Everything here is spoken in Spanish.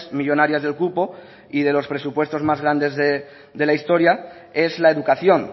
millónarias del cupo y de los presupuestos más grandes de la historia es la educación